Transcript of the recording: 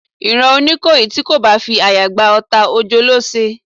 Ìran oníkòyí ti ko bá fi àyà gba ọta, ojo ló se